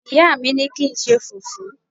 ìyá mi ni ki nṣe fufu